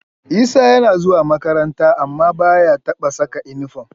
Isa yana zuwa makaranta amma ba ya taɓa saka inifom